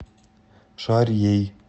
шарьей